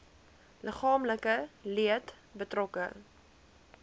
liggaamlike leed betrokke